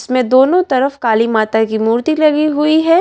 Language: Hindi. इसमें दोनों तरफ काली माता की मूर्ति लगी हुई है।